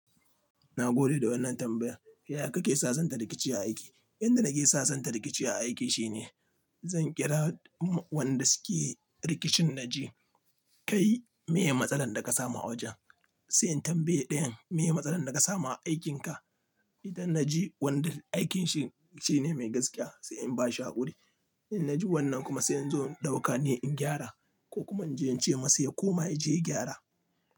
Na gode da wannan tambayar. Yaya kake sasanta rikici a aiki? Inda nake sasanta rikici a aiki shine zan kira wanda suke rikicin na ji, "Kai, meye matsalar da ka samu a wajen?" Sai in tambaye ɗayan, "Meye matsalar da ka samu a aikinka?" Idan na ji wanda aikinsa shine mai gaskiya sai in ba shi haƙuri. In na ji wannan kuma sai in zo in ɗauka ni in gyara ko kuma in je in ce masa ya koma ya je gyara.